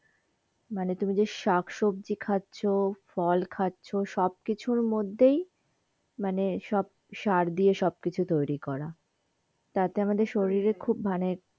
মানে তুমি যে শাক সবজি খাচ্ছ, ফল খাচ্ছ, সব কিছুর মধ্যেই মানে সব সার দিয়েই সব কিছু তৈরী করা তাতে আমাদের শরীরের খুব.